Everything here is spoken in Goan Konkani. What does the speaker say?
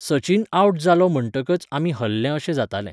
सचिन आवट जालो म्हंटकच आमी हरले अशें जातालें